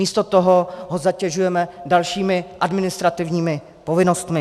Místo toho ho zatěžujeme dalšími administrativními povinnostmi.